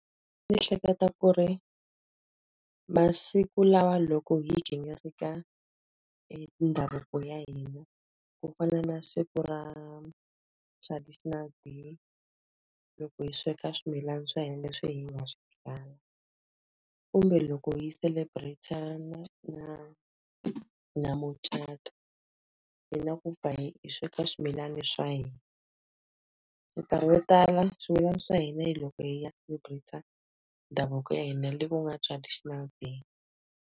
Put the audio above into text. Ndzi hleketa ku ri masiku lawa loko hi gingirika ndhavuko ya hina, ku fana na siku ra traditional. Loko hi sweka swimilana swa hina leswi hi nga swi byala. Kumbe loko hi celebrate na na mucato hi na ku pfa hi hi sweka swimilana swa hina. Minkarhi yo tala swimilana swa hina hi loko hi ya celebrate-a ndhavuko ya hina leyi ku nga traditional day.